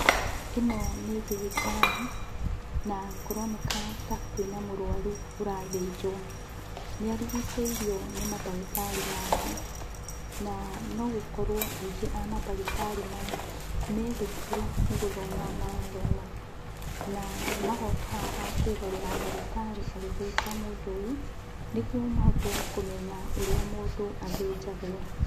Ĩno nĩ thibitarĩ na kũroneka ta kwĩna mũrwaru ũrathĩnjwo, na nĩarigicĩirio nĩ mandagĩtarĩ mangĩ. Na, no gũkorwo aingĩ a mandagĩtarĩ maya, me thukuru nĩ gũthoma marathoma. Na magoka haha kwĩrorera ndagĩtarĩ agĩthĩnja mũndũ ũyũ, nĩguo mahote kũmenya ũrĩa mũndũ athĩnjagwo.